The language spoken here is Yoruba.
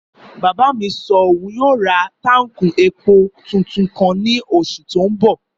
Bàbá mi sọ òun yóò ra táùnkì epo tuntun kan ní oṣù tó n bọ̀